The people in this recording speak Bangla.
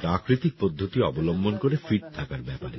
প্রাকৃতিক পদ্ধতি অবলম্বন করে ফিট থাকার ব্যাপারে